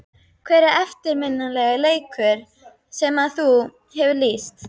Hver er eftirminnilegasti leikur sem að þú hefur lýst?